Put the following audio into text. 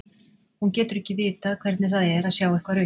Hún getur ekki vitað hvernig það er að sjá eitthvað rautt.